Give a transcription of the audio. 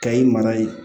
Kayi mara ye